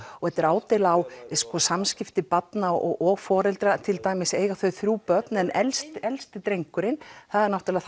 og þetta er ádeila á samskipti barna og og foreldra til dæmis eiga þau þrjú börn en elsti elsti drengurinn það er náttúrulega